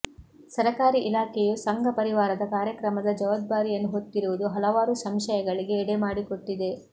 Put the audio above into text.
ಸರಕಾರಿ ಇಲಾಖೆಯು ಸಂಘಪರಿವಾರದ ಕಾರ್ಯಕ್ರಮದ ಜವಾಬ್ದಾರಿಯನ್ನು ಹೊತ್ತಿರುವುದು ಹಲವಾರು ಸಂಶಯಗಳಿಗೆ ಎಡೆ ಮಾಡಿಕೊಟ್ಟಿದೆ